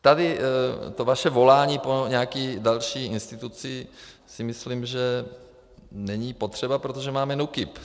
Tedy to vaše volání po nějaké další instituci si myslím, že není potřeba, protože máme NÚKIB.